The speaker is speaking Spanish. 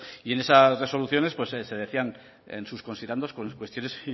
y en esas resoluciones se decía en sus considerandos cuestiones